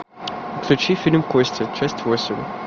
включи фильм кости часть восемь